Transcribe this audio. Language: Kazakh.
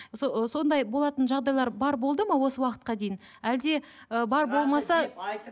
ы сондай болатын жағдайлар бар болды ма осы уақытқа дейін әлде ы бар болмаса